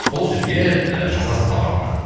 сол жерге ы жазасыз товардың атын